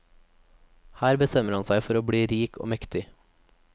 Her bestemmer han seg for å bli rik og mektig.